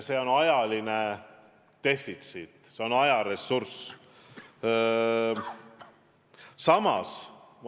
See on ajaline defitsiit, see on ajaressurss.